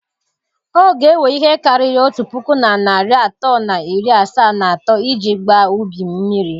Ọ ga ewe ihe karịrị otu puku na narị atọ na iri asaa na atọ iji gbaa ubi m mmiri.